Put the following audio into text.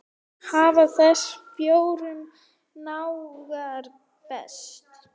Hafa þessir fjórir náungar breyst?